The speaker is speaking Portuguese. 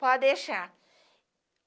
Pode deixar.